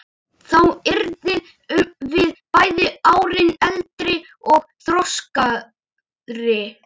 Þá yrðum við bæði árinu eldri og þroskaðri.